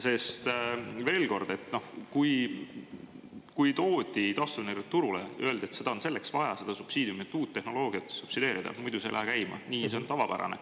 Sest, veel kord, et kui toodi taastuvenergia turule, öeldi, et seda on selleks vaja, seda subsiidiumi, et uut tehnoloogiat subsideerida, muidu see ei lähe käima nii, ja see on tavapärane.